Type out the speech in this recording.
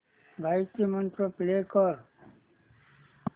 गायत्री मंत्र प्ले कर